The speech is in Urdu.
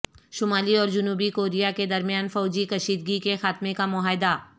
شمالی اور جنوبی کوریا کے درمیان فوجی کشیدگی کے خاتمے کا معاہدہ